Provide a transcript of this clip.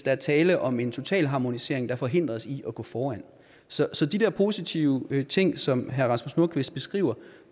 er tale om en totalharmonisering der forhindrer os i at gå foran så så de der positive ting som herre rasmus nordqvist beskriver